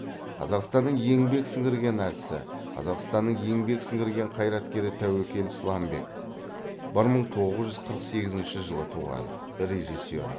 қазақстанның еңбек сіңірген әртісі қазақстанның еңбек сіңірген қайраткері тәуекел сламбек бір мың тоғыз жүз қырық сегізінші жылы туған режиссер